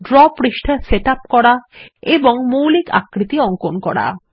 draw পৃষ্ঠা set up করা এবং মৌলিক আকৃতি অঙ্কন করা